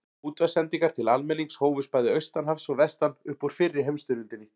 Útvarpssendingar til almennings hófust bæði austan hafs og vestan upp úr fyrri heimsstyrjöldinni.